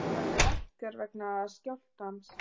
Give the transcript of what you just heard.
Olíuverð lækkar vegna skjálftans